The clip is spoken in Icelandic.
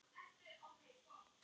Við ætlum að veiða þær